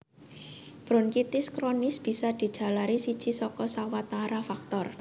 Bronkitis kronis bisa dijalari siji saka sawatara faktor